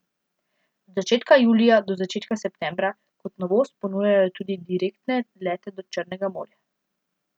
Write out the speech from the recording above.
Od začetka julija do začetka septembra kot novost ponujajo tudi direktne lete do Črnega morja.